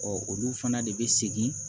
olu fana de bɛ segin